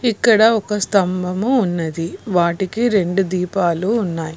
ఇక్కడ ఒక స్తంభము ఉన్నది వాటికి రెండు దీపాలు ఉన్నాయి.